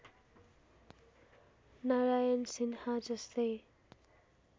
नारायण सिन्हा जस्तै